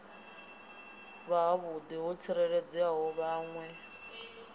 si havhuḓi ho tsikeledza vhaṋwe